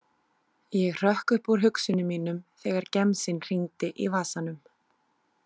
Ég hrökk upp úr hugsunum mínum þegar gemsinn hringdi í vasanum.